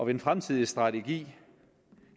den fremtidige strategi